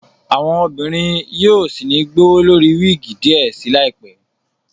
Àwọn obìnrin yóò sí ní gbowólori wigi diẹ sí láìpé